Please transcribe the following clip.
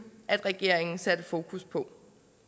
regeringen satte fokus på